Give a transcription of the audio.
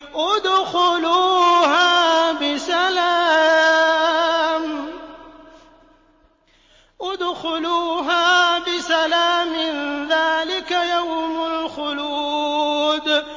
ادْخُلُوهَا بِسَلَامٍ ۖ ذَٰلِكَ يَوْمُ الْخُلُودِ